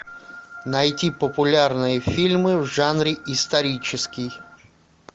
найти популярные фильмы в жанре исторический